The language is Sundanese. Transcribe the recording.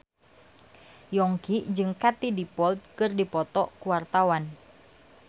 Yongki jeung Katie Dippold keur dipoto ku wartawan